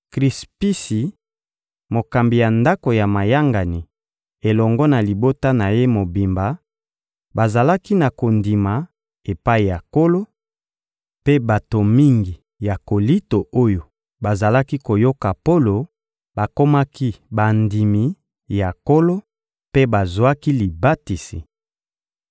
Krispisi, mokambi ya ndako ya mayangani, elongo na libota na ye mobimba bazalaki na kondima epai ya Nkolo; mpe bato mingi ya Kolinto oyo bazalaki koyoka Polo bakomaki bandimi ya Nkolo mpe bazwaki libatisi.